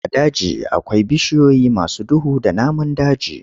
A daji akwai bishiyoyi masu duhu da namun daji.